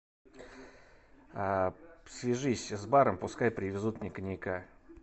свяжись с баром пускай привезут мне коньяка